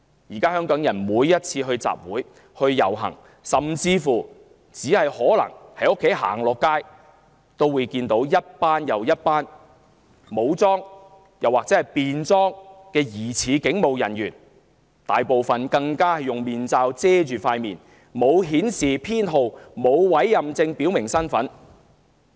現在香港人每次參加集會、遊行，甚至只是步出家門，也會看到一批又一批武裝或便裝的疑似警務人員，他們大部分更用面罩遮掩面孔，沒有編號或委任證識別身份。